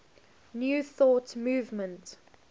new thought movement